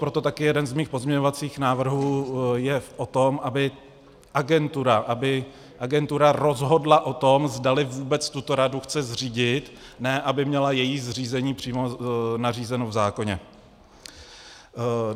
Proto také jeden z mých pozměňovacích návrhů je o tom, aby agentura rozhodla o tom, zdali vůbec tuto radu chce zřídit - ne aby měla její zřízení přímo nařízeno v zákoně.